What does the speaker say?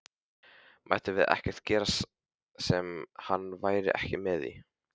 Mættum við ekkert gera sem hann væri ekki með í?